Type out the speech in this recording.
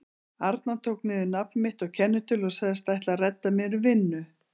arnar tók niður nafn mitt og kennitölu og sagðist ætla að redda mér vinnu.